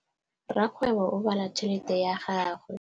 Rakgwêbô o bala tšheletê ya gagwe.